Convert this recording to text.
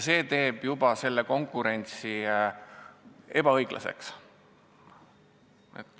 See teeb konkurentsi ebaõiglaseks.